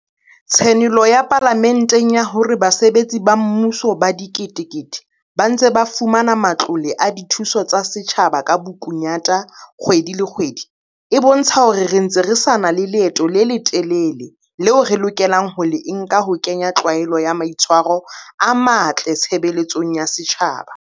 Tshenolo ya Pala menteng ya hore basebetsi ba mmu so ba diketekete ba ntse ba fumana matlole a dithuso tsa setjhaba ka bokunyata kgwedi le kgwedi e bo ntsha hore re ntse re sa na le leeto le le telele leo re lokelang ho le nka ho ke nya tlwaelo ya maitshwa ro a matle tshebeletsong ya setjhaba.